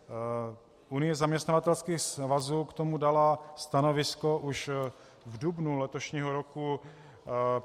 Unie zaměstnavatelských svazů k tomu dala stanovisko už v dubnu letošního roku.